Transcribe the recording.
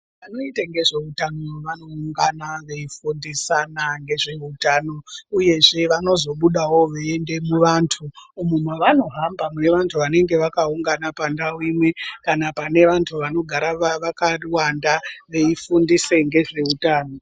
Vanoita ngezveutano vanoungana veifundisana ngezveutano uyezve vanozobudawo veiende muvantu umu mavanohamba muvantu vanenge vakaungana pandau imwe kana pavantu vanogara vakawanda veifundise ngezveutano.